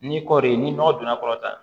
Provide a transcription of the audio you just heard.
Ni kɔɔri ye ni nɔgɔ donna kɔrɔ tan